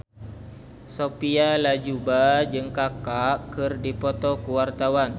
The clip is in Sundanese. Sophia Latjuba jeung Kaka keur dipoto ku wartawan